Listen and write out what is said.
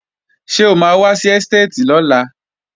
Ṣé o máa wá sí ẹ́stéètì lọ́la?